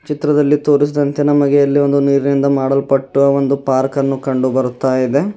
ಚಿತ್ರದಲ್ಲಿ ತೋರಿಸಿದಂತೆ ನಮಗೆ ಇಲ್ಲಿ ಒಂದು ನೀರಿನಿಂದ ಮಾಡಲ್ಪಟ್ಟ ಒಂದು ಪಾರ್ಕ್ ಅನ್ನೋ ಕಂಡು ಬರುತ್ತಾ ಇದೆ.